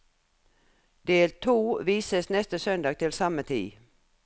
Del to vises neste søndag til samme tid.